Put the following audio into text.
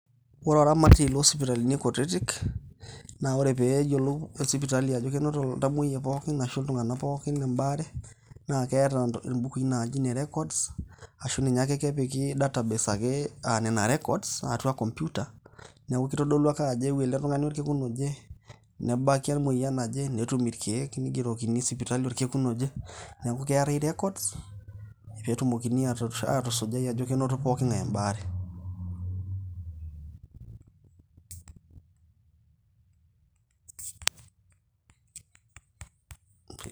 Ore oramatie loo sipitalini kutiti, naa ore pee eyiolou sipitali ajo enoto iltamuoyia arashu iltung`anak pookin ebaare, naa keeta int imbukui naaji ine records ashu ninye ake kepiki database ake aa nena records atua computer. Niaku keitodulu ake ajo eewuo ele tung`ani orkekun oje, nebaki emoyian naje netum irkeek neigerokini sipitali orkekun oje, niaku keetae records. Pee etumokini aatusu aatusujai ajo kenoto poki ng`ae ebaare.